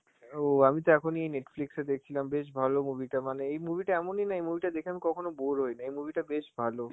ও আমি তো এখনই Netflix এ দেখছিলাম, বেশ ভালো movie টা, মানে এই movie টা এমনই না, এই movie টা দেখে আমি কখনো bore হই না, এই movie টা বেশ ভালো.